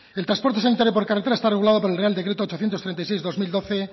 el transporte sanitario por carretera está regulado por el real decreto ochocientos treinta y seis barra dos mil doce